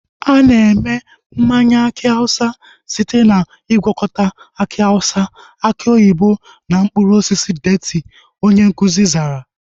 Ana eme mmanya aki awụsa site na ngwakọta aki awụsa, aki oyibo na mkpụrụ osisi deeti, onye nkụzi zara